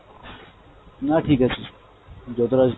না ঠিক আছে, যতটা হয়েছে